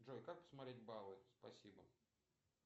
джой как посмотреть баллы спасибо